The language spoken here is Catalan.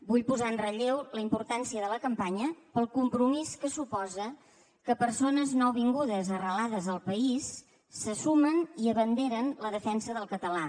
vull posar en relleu la importància de la campanya pel compromís que suposa que persones nouvingudes arrelades al país se sumen i abanderen la defensa del català